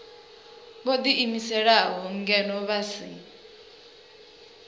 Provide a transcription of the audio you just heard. vho ḓiimiselaho ngeno vha si